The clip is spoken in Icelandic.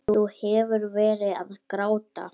Þú hefur verið að gráta!